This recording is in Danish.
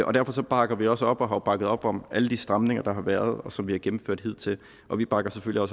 og derfor bakker vi også op og har bakket op om alle de stramninger der har været og som vi har gennemført hidtil og vi bakker selvfølgelig